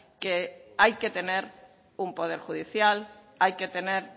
que hay que tener un poder judicial hay que tener